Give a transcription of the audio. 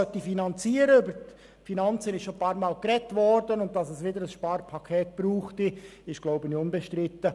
Über die Finanzen ist schon einige Male gesprochen worden, und dass es wieder ein Sparpaket brauchen würde, ist wohl unbestritten.